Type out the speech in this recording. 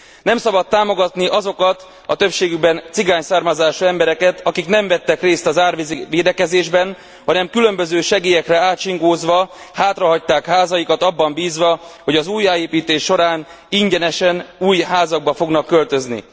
Nem szabad támogatni azokat a többségükben cigány származású embereket, akik nem vettek részt az árvízi védekezésben, hanem különböző segélyekre ácsingózva hátrahagyták házaikat abban bízva, hogy az újjáépítés során ingyenesen új házakba fognak költözni.